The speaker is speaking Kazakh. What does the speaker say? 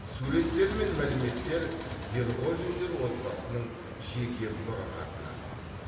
суреттер мен мәліметтер ерғожиндер отбасының жеке мұрағатынан